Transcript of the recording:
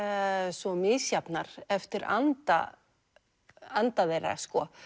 svo misjafnar eftir anda anda þeirra